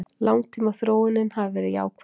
Langtímaþróunin hafi verið jákvæð